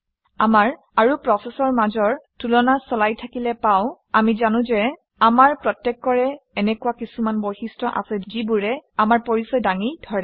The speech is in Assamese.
আমাৰ আৰু প্ৰচেচৰ মাজৰ তুলনা চলাই থাকিলে পাওঁ আমি জানো যে আমাৰ প্ৰত্যেকৰে এনেকুৱা কিছুমান বৈশিষ্ট্য আছে যিবোৰে আমাৰ পৰিচয় দাঙি ধৰে